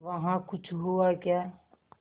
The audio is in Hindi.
वहाँ कुछ हुआ क्या